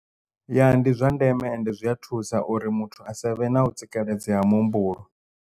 Ya ndi zwa ndeme ende zwi a thusa uri muthu asavhe na u tsikeledzea ha muhumbulo.